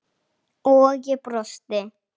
og ég brosti.